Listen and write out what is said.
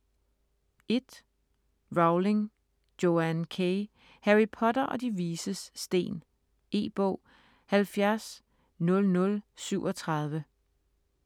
Rowling, Joanne K.: Harry Potter og De Vises Sten E-bog 700037